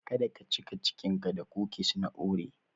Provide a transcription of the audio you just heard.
Kada ka cika cikinka da kukis na oreo.